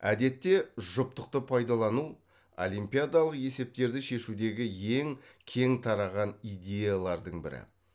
әдетте жұптықты пайдалану олимпиадалық есептерді шешудегі ең кең тараған идеялардың бірі